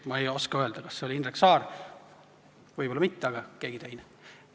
Ma ei oska öelda, kas see oli Indrek Saar, võib-olla mitte, võib-olla oli see keegi teine.